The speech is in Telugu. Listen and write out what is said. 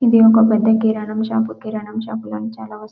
ఇది ఒక పెద్ద కిరాణం షాపు కిరాణం షాపులో చాలా వస్తువులు --